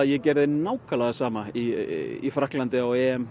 ég gerði það nákvæmlega sama með í Frakklandi á